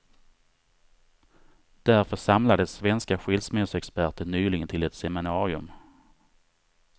Därför samlades svenska skilsmässoexperter nyligen till ett seminarium.